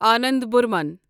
Anand Burman